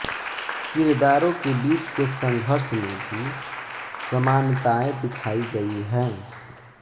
किरदारों के बीच के संघर्ष में भी समानताएं दिखायी गयी हैं